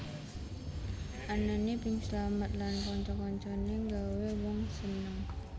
Anané Bing Slamet lan kanca kancane nggawé wong seneng